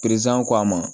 ko a ma